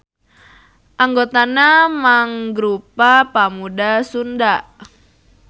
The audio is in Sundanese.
Anggotana mangrupa pamuda Sunda.